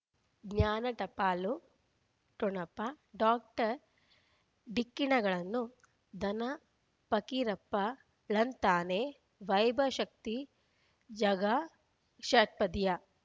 ಜ್ಞಾನ ಟಪಾಲು ಠೊಣಪ ಡಾಕ್ಟರ್ ಢಿಕ್ಕಿ ಣಗಳನು ಧನ ಫಕೀರಪ್ಪ ಳಂತಾನೆ ವೈಭವ್ ಶಕ್ತಿ ಝಗಾ ಷಟ್ಪದಿಯ